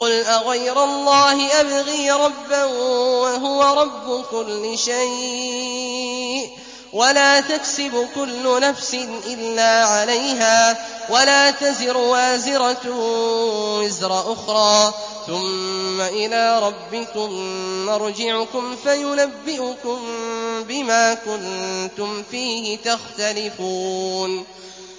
قُلْ أَغَيْرَ اللَّهِ أَبْغِي رَبًّا وَهُوَ رَبُّ كُلِّ شَيْءٍ ۚ وَلَا تَكْسِبُ كُلُّ نَفْسٍ إِلَّا عَلَيْهَا ۚ وَلَا تَزِرُ وَازِرَةٌ وِزْرَ أُخْرَىٰ ۚ ثُمَّ إِلَىٰ رَبِّكُم مَّرْجِعُكُمْ فَيُنَبِّئُكُم بِمَا كُنتُمْ فِيهِ تَخْتَلِفُونَ